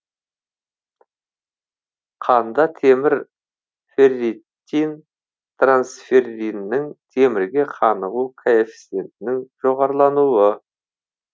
қанда темір ферритин трансферриннің темірге қанығу коэффициентінің жоғарылануы